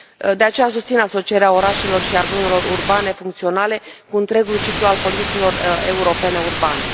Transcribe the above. De aceea, susțin asocierea orașelor și a zonelor urbane funcționale cu întregul ciclu al politicilor europene urbane.